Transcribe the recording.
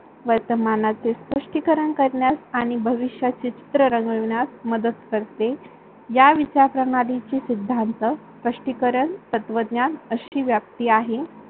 वर्तमानाचे स्पष्ठीकरण करण्यास आणि भविष्याचे चित्र रंगविण्यास मदत करते. या विचार प्रणालीची सिद्धांत, स्पष्टीकरण, तत्वज्ञान अशी व्याप्ती आहे.